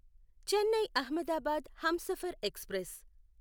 Chennai Ahmedabad Humsafar express